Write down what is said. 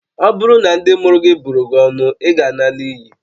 Ọ bụrụ na ndị mụrụ gị bụrụ gị ọnụ, ị ga-ala n'iyi